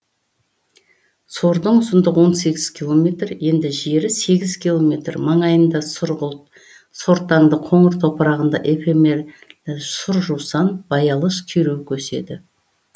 сордың ұзындығы он сегіз километр енді жері сегіз километр маңайында сұрғылт сортаңды қоңыр топырағында эфемерлі сұр жусан баялыш күйреуік өседі